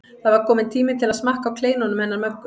Það var kominn tími til að smakka á kleinunum hennar Möggu.